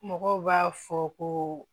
Mɔgɔw b'a fɔ ko